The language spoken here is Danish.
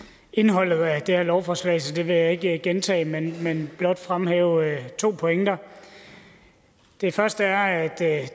indholdet af det her lovforslag så det vil jeg ikke gentage men blot fremhæve to pointer det første er at